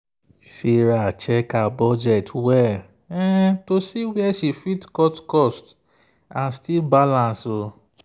sarah check her budget well to see where she fit cut cost and still balance.